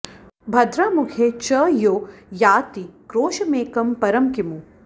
भद्रा मुखे च यो याति क्रोशमेकं परं किमु